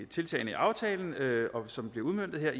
tiltagene i aftalen som bliver udmøntet her